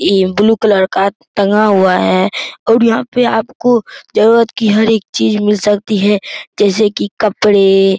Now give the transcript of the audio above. ई blue colour का टंगा हुआ है और यहाँ पे आपको जरूरत की हर एक चीज मिल सकती हैं जैसे कि कपड़े --